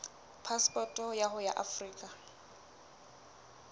phasepoto ya hao ya afrika